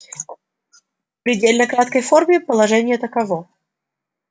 в предельно краткой форме положение таково